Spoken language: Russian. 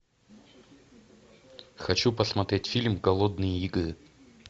хочу посмотреть фильм голодные игры